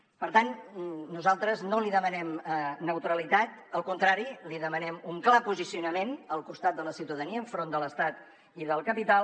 per tant nosaltres no li demanem neutralitat al contrari li demanem un clar posicionament al costat de la ciutadania enfront de l’estat i del capital